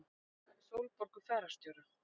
Tala við Sólborgu fararstjóra.